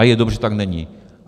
A je dobře, že tam není.